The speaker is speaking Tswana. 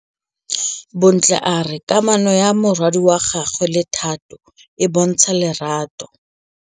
Bontle a re kamanô ya morwadi wa gagwe le Thato e bontsha lerato.